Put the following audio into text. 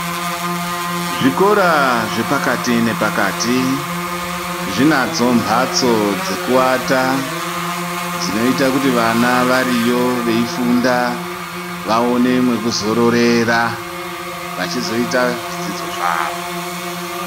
Zvikora zvepakati nepakati zvinadzo mbatso dzekuata dzinoita kuti vana variyo veifunda vaone mwekuzororera vachizoita zvidzidzo zvavo.